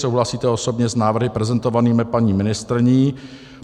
Souhlasíte osobně s návrhy prezentovanými paní ministryní?